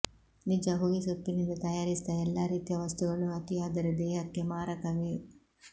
ನಿಜ ಹೊಗೆಸೊಪ್ಪಿನಿಂದ ತಯಾರಿಸಿದ ಎಲ್ಲಾ ರೀತಿಯ ವಸ್ತುಗಳೂ ಅತಿಯಾದರೆ ದೇಹಕ್ಕೆ ಮಾರಕವೇ